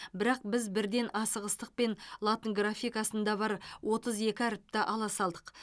бірақ біз бірден асығыстықпен латын графикасында бар отыз екі әріпті ала салдық